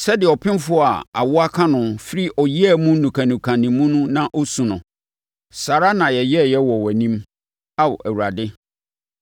Sɛdeɛ ɔpemfoɔ a awoɔ aka no firi ɔyea mu nukanuka ne mu na ɔsu no, saa ara na yɛyɛeɛ wɔ wʼanim, Ao Awurade.